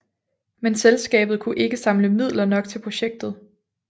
Men selskabet kunne ikke samle midler nok til projektet